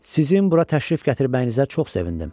Sizin bura təşrif gətirməyinizə çox sevindim.